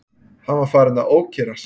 Hann var farinn að ókyrrast.